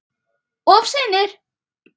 Of seinir!